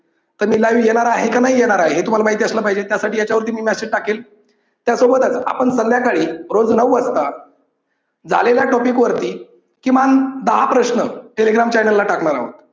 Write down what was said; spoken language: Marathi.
तर मी live येणार आहे का नाही येणार आहे हे तुम्हाला माहिती असलं पाहिजे त्यासाठी ह्याच्यावर मी message टाकेल. यासोबतच आपण संध्याकाळी रोज नऊ वाजता झालेल्या topic वरती किमान दहा प्रश्न telegram channel ला टाकणार आहोत.